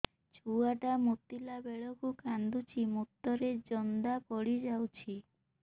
ଛୁଆ ଟା ମୁତିଲା ବେଳକୁ କାନ୍ଦୁଚି ମୁତ ରେ ଜନ୍ଦା ପଡ଼ି ଯାଉଛି